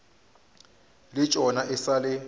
le tšona e sa le